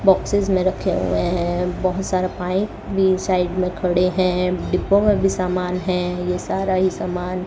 boxes में रखे हुए हैं बहुत सारा पाइप भी साइड में खड़े हैं डिब्बों में भी समान है ये सारा ही समान --